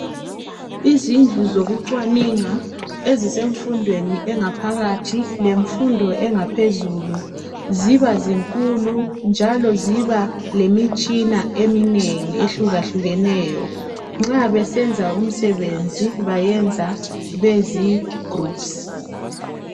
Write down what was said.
Izindlu zokuxwaningwa ezisemfundweni engaphakathi lemfundo engaphezulu ziba zinkulu njalo ziba lemitshina eminengi ehlukahlukeneyo nxa sisenza umsebenzi bayenza bezi groups.